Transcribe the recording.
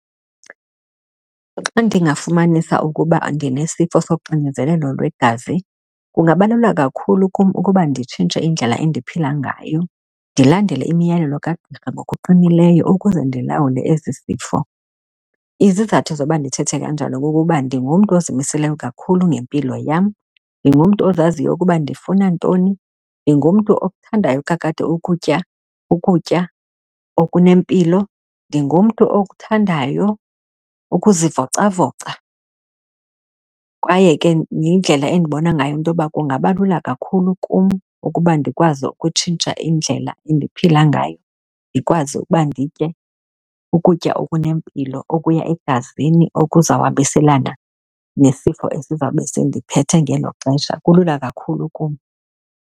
Xa ndingafumanisa ukuba ndinesifo soxinzelelo lwegazi kungabaluleka kakhulu kum ukuba nditshintshe indlela endiphila ngayo, ndilandele imiyalelo kagqirha ngokuqinileyo ukuze ndilawule esi sifo. Izizathu zokuba ndithethe kanjalo kukuba ndingumntu ozimiseleyo kakhulu ngempilo yam, ndingumntu ozaziyo ukuba ndifuna ntoni, ndingumntu okuthandayo kakade ukutya ukutya okunempilo. Ndingumntu okuthandayo ukuzivocavoca kwaye ke yindlela endibona ngayo intoba kungaba lula kakhulu kum ukuba ndikwazi ukutshintsha indlela endiphila ngayo, ndikwazi ukuba nditye ukutya okunempilo okuya egazini okuzawuhambiselana nesifo esizabe sindiphethe ngelo xesha. Kulula kakhulu kum.